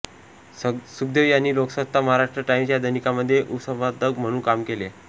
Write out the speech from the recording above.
सखदेव यांनी लोकसत्ता महाराष्ट्र टाईम्स या दैनिकांमध्ये उपसंपादक म्हणून काम केले